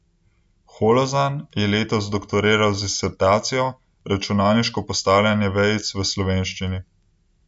Holozan je letos doktoriral z disertacijo Računalniško postavljanje vejic v slovenščini.